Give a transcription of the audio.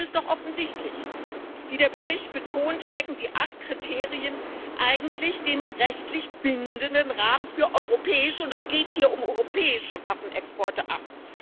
Das Problem ist doch offensichtlich Wie der Bericht betont, stecken die acht Kriterien eigentlich dem rechtlich bindenden Rahmen für europäische Waffenexporte und es geht hier um europäische Waffenexporte ab.